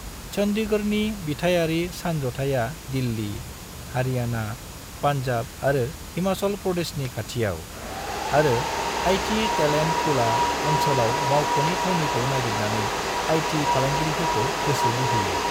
चन्डीगढ़नि बिथायारि सानजथाइआ दिल्ली, हरियाणा, पान्जाब आरो हिमाचल प्रदेशनि खाथियाव, आरो आई.टी टेलेन्ट पुला ओनसोलाव मावख'नि थावनिखौ नागिरनानै आईटी फालांगिरिफोरखौ गोसो बोहोयो।